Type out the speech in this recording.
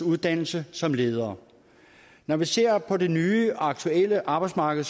uddannelse som ledere når vi ser på det nye aktuelle arbejdsmarked